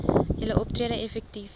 julle optrede effektief